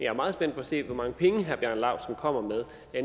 er meget spændt på at se hvor mange penge herre bjarne laustsen kommer med